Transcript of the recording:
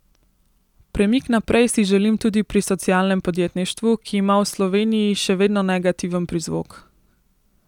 Premik naprej si želim tudi pri socialnem podjetništvu, ki ima v Sloveniji še vedno negativen prizvok.